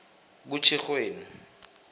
kutjhirhweni